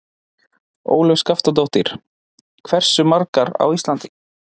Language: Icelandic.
Ólöf Skaftadóttir: Hversu margar á Íslandi?